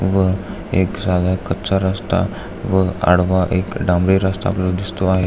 व एक साधा कच्चा रस्ता व आडवा एक डांबरी रस्ता आपल्याला दिसतो आहे.